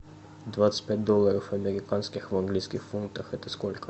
двадцать пять долларов американских в английских фунтах это сколько